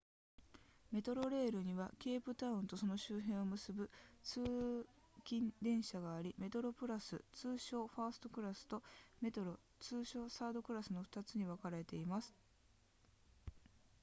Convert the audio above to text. メトロレールにはケープタウンとその周辺を結ぶ通勤電車がありメトロプラス通称ファーストクラスとメトロ通称サードクラスの2つに分かれています